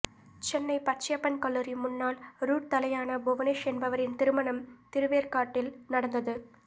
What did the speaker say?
சென்னை பச்சையப்பன் கல்லுாரி முன்னாள் ரூட் தலயான புவனேஷ் என்பவரின் திருமணம் திருவேற்காட்டில் நடந்தது